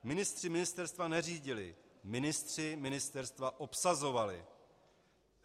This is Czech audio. Ministři ministerstva neřídili, ministři ministerstva obsazovali.